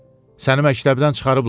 Səni məktəbdən çıxarıblar?